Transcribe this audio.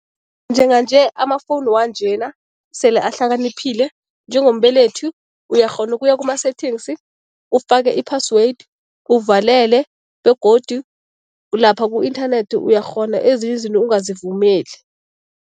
Njenganje amafowuni wanjena sele ahlakaniphile. Njengombelethi uyakghona ukuya kuma-settings, ufake i-password, uvalele begodu lapha ku-inthanethi uyakghona ezinye izinto ungazivumeli.